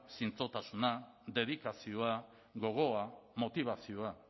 zintzotasuna dedikazioa gogoa motibazioa